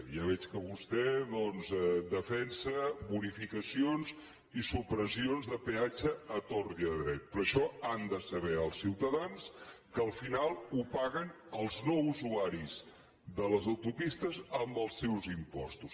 ja veig que vostè doncs defensa bonificacions i supressions de peatge a tort i a dret però això han de saber els ciutadans que al final ho paguen els no usuaris de les autopistes amb els seus impostos